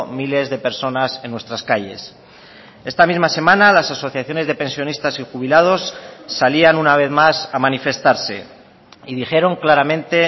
miles de personas en nuestras calles esta misma semana las asociaciones de pensionistas y jubilados salían una vez más a manifestarse y dijeron claramente